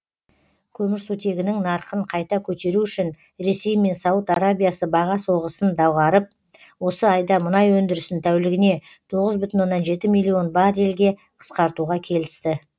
көмірсутегінің нарқын қайта көтеру үшін ресей мен сауд арабиясы баға соғысын доғарып осы айда мұнай өндірісін тәулігіне тоғыз бүтін оннан жеті миллион баррельге қысқартуға келісті